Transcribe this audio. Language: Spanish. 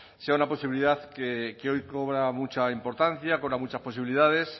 sea una posibilidad que hoy cobra mucha importancia cobra muchas posibilidades